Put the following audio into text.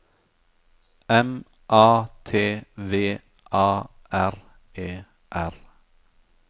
M A T V A R E R